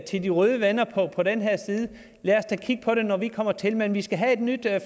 til de røde venner på den her side lad os da kigge på det når vi kommer til men vi skal have et nyt